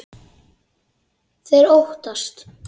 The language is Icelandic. Þeir óttast.